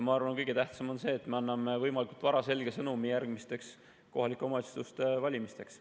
Ma arvan, et kõige tähtsam on see, et me anname võimalikult vara selge sõnumi järgmisteks kohalike omavalitsuste valimisteks.